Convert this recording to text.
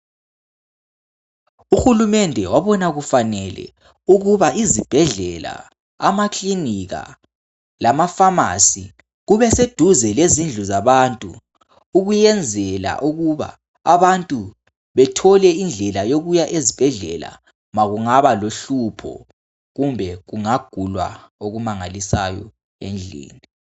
Uhulumende wabona kufanele ukuba izibhedlela , amaklinika lama pharmacy kube seduze lezindlu zabantu ukuyenzela ukuba abantu bethole indlela yokuya ezibhedlela makungaba lohlupho kumbe kungagulwa okumangalisayo endlini